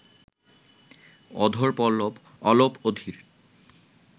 অধরপল্লব অলপ অধীর